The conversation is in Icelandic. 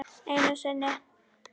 Einu sinni.